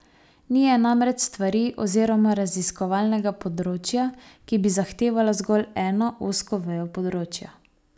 Ni je namreč stvari oziroma raziskovalnega področja, ki bi zahtevalo zgolj eno, ozko vejo področja.